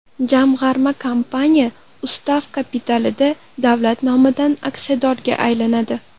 Jamg‘arma kompaniya ustav kapitalida davlat nomidan aksiyadorga aylanadi.